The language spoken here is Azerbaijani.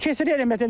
Keçirilmədi.